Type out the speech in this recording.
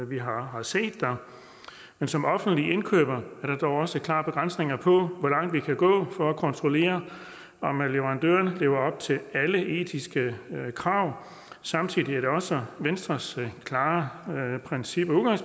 vi har har set der men som offentlig indkøber er der dog også klare begrænsninger på hvor langt vi kan gå for at kontrollere om leverandøren lever op til alle etiske krav samtidig er det også venstres klare princip og